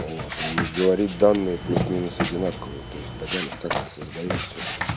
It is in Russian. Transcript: вот и говорит данные плюс-минус одинаковые то есть бодян их как-то создаёт всё-таки